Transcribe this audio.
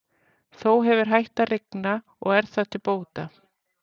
Þó hefur hætt að rigna og er það til bóta.